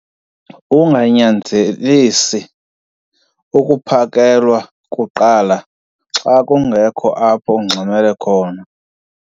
Unganyanzelisi ukuphakelwa kuqala xa kungekho apho ungxamele khona.